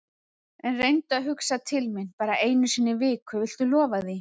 En reyndu að hugsa til mín bara einu sinni í viku, viltu lofa því?